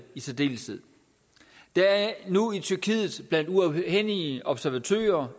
i særdeleshed der er nu i tyrkiet blandt uafhængige observatører